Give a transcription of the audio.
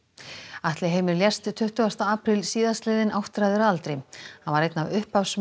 Atli Heimir lést tuttugasta apríl síðastliðinn áttræður að aldri hann var einn af upphafsmönnum